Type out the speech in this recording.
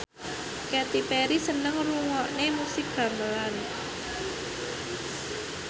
Katy Perry seneng ngrungokne musik gamelan